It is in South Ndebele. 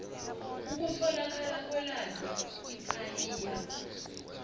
ukutholakala kwelwazi ipaia